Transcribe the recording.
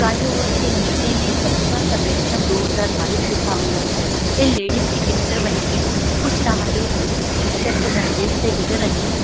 Flyover के नीचे में सच्चा सर्वेक्षण दो हजार बाइस लिखा हुआ है ये लेडीज की पिक्चर बनी हुई है कुछ रहागीर इस पिक्चर के नजदीक से गुजर रहे हैं।